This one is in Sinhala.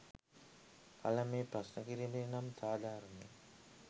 කළ මේ ප්‍රශ්න කිරීම නම් සාධාරණය